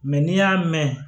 Mɛ n'i y'a mɛn